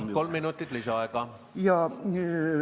Palun, kolm minutit lisaaega!